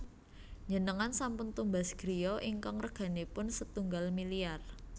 Njenengan sampun tumbas griya ingkang reganipun setunggal miliar